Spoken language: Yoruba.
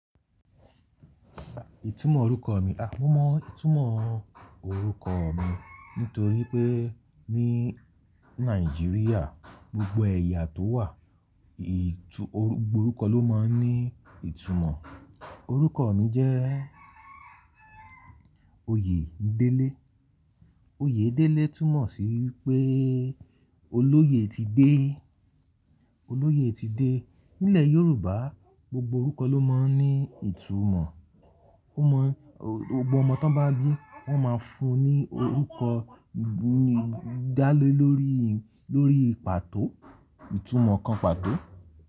Ìtúmọ̀ orúkọ mi, a mo mọ ìtúmọ̀ orúkọ mi nítorí pé ní Nàìjíríà, gbogbo ẹ̀yà tó wà, ìtú-- gbogbo orúkọ ló máa ń ní ìtumọ̀. Orúkọ mi jẹ́ Oyèdélé. Oyèdélé túmọ̀ sí wípé olóyè ti dé, olóyè ti dé. Nílẹ̀ Yorùbá, gbogbo orúkọ ló máa ń ní ìtumọ̀. Ó mọ-- gbogbo ọmọ tó bá bí, wón máa fún ní orúkọ lálé lórí, lórí pàtó, ìtumọ̀ kan pàtó.